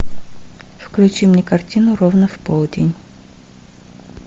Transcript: включи мне картину ровно в полдень